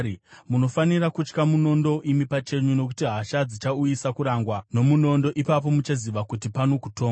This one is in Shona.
munofanira kutya munondo imi pachenyu, nokuti hasha dzichauyisa kurangwa nomunondo, ipapo muchaziva kuti pano kutongwa.”